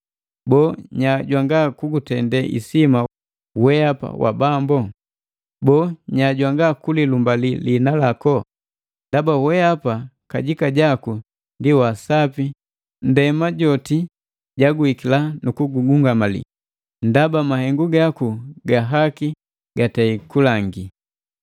Boo, nya jwanga kugutende isima wehapa Bambu? Boo, nya jwanga ku lilumbali liina lako? Ndaba wehapa kajika jaku ndi wa sapi nndema joti jaguhikila nu kugungamali, ndaba mahengu gaku ga haki gatei kulangi.”